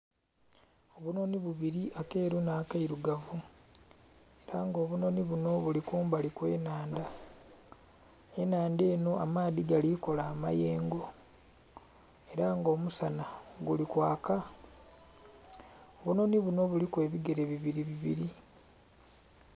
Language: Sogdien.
Obunhonhi bubiri akeru nha keirugavu era nga obunhonhi binho bili kumbali kwe nhandha, enhandha enho amaadhi gali kola amayengo era nga omusana guli kwaaka obunhonhi binho buliku ebigere bibiri bibiri.